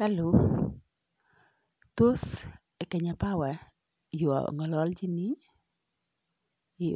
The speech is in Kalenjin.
"Hallo tos Kenya Power yu ong'ololchini?